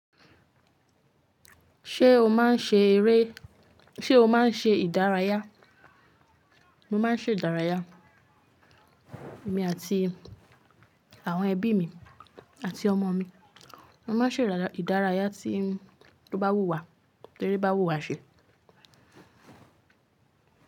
Ṣé o máa ń ṣe eré, ṣe o máa ń ṣe ìdárayá? Mo máa ń ṣe ìdárayá, èmi àti àwọn ẹbí mi àti ọmọ mi. A máa ń ṣe ìdárayá tí tó bá wù wá, tẹríba wù wá ṣe.